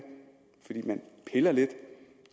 fordi man piller lidt